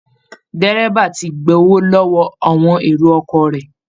Dẹ́rẹ́ba ti gbowó lọ́wọ́ àwọn èrò ọkọ̀ rẹ̀